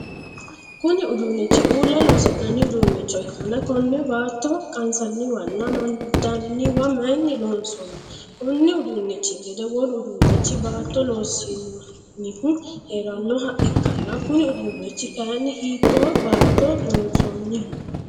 Kunni uduunchi uula loosi'nanni udunicho ikanna konne baatto qansaniwanna amandanniwa mayinni loonsoonni? Konni uduunchi gede wolu uduunichi baatto loosi'nannihu heeranoha ikanna kunni uduunichi kayinni hiitoo baatto loonsanniho?